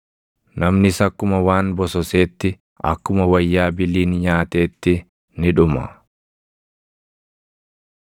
“Namnis akkuma waan bososeetti, akkuma wayyaa biliin nyaateetti ni dhuma.